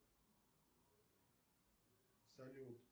салют